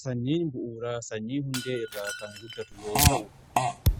Sanyiin bu'uuraa sanyii hundee irraa kan guddatu yoo ta'u